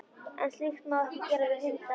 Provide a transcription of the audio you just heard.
En slíkt má ekki gera við hunda.